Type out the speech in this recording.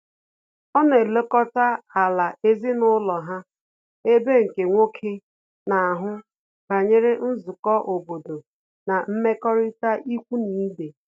Ọ na elekọta ala ezinụlọ ha, ebe nke nwoke na-ahụ banyere nzukọ obodo na mmekọrịta ikwu na ibe